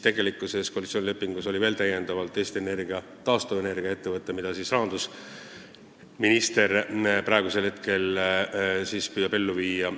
Tegelikult on koalitsioonilepingus veel täiendavalt kirjas Eesti Energia taastuvenergia ettevõte, millega seotud plaani rahandusminister praegu püüab ellu viia.